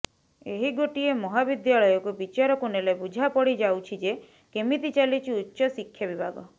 ଏହି େଗାଟିଏ ମହାବିଦ୍ୟାଳୟକୁ ବିଚାରକୁ ନେଲେ ବୁଝାପଡ଼ିଯାଉଛି େଯ କେମିତି ଚାଲିଛି ଉଚ୍ଚଶିକ୍ଷା ବିଭାଗ